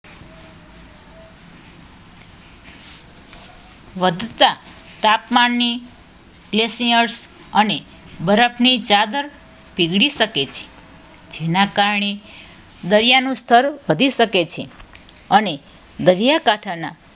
વધતા તાપમાનથી Glaciers અને બરફની ચાદર પીગળી શકે છે. જેના કારણે દરિયાનું સ્તર વધી શકે છે અને દરિયાકાંઠાના